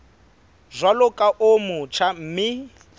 jwalo ka o motjha mme